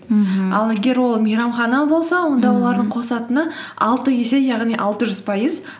мхм ал егер ол мейрамхана болса онда олардың қосатыны алты есе яғни алты жүз пайыз